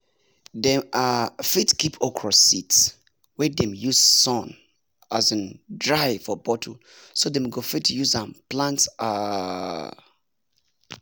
dem um fit keep okra seeds wey dem use sun um dry for bottle so dem go fit use m plant um